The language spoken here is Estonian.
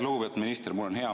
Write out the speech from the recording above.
Lugupeetud minister!